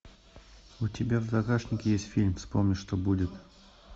у тебя в загашнике есть фильм вспомни что будет